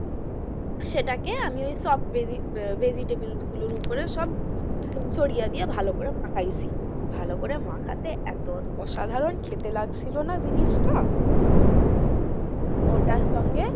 সেটাকে আমি ওই চপ ভেজি ভেজিটেবিল গুলোর উপরে সব ছড়িয়ে দিয়ে ভালো করে মাখাইছি ও ভালো করে মাখাতে এতো অসাধারণ খেতে লাগছিল না জিনিসটা হম হম হম ওটার সঙ্গে,